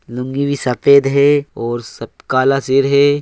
लुंगी भी सफ़ेद है और सब काला है।